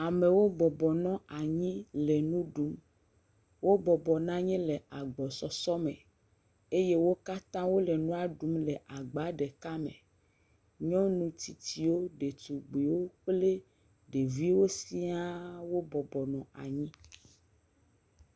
Amewo bɔbɔnɔ anyi le nu ɖum. Wo bɔbɔnsanyi le agbɔsɔsɔ me eye wo katã wole nu ɖum le agba ɖeka me. Nyɔnu tsitsiwo, ɖetugbiwo kple ɖeviwo sia wo bɔbɔnɔ anyi.